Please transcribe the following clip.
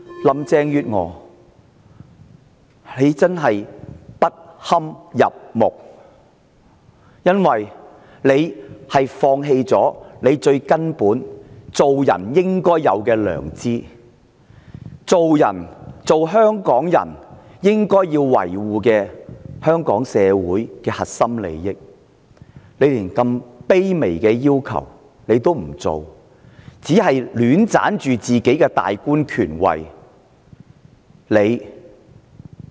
林鄭月娥真的不堪入目，因為她放棄身為人最根本應有的良知，放棄身為香港人應要維護的香港社會核心利益，她連這麼卑微的要求也不做，只是戀棧自己的大官權位。